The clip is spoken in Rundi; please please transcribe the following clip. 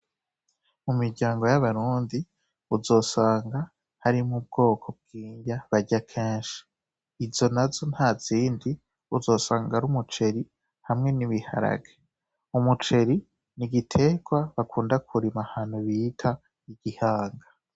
Mu miryango y'abarundi uzosanga harimwo ubwoko bw'irya barya kenshi, izo nazo ntazindi uzosanga ari umuceri hamwe n'ibiharage, umuceri n‘igiterwa bakunda kurima ahantu bita igihanga.